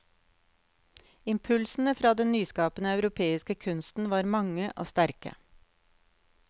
Impulsene fra den nyskapende europeiske kunsten var mange og sterke.